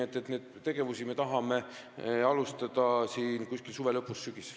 Nii et neid tegevusi me tahame alustada suve lõpus, sügisel.